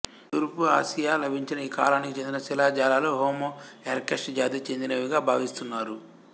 తూర్పు ఆసియా లభించిన ఈ కాలానికి చెందిన శిలాజాలు హోమో ఎరెక్టస్ జాతికి చెందినవిగా భావిస్తున్నారు